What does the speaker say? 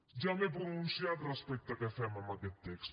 ja m’he pronunciat respecte a què fem amb aquest text